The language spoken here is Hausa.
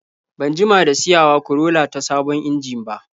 Ban jima da siyawa Corolla ta sabon injin ba.